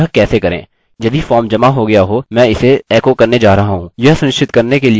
यदि फॉर्म जमा हो गया हो मैं इसे एको करने जा रहा हूँ यह सुनिश्चित करने के लिए कि यह यहाँ पर है